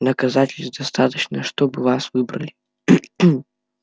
доказательств достаточно чтобы вас выбрали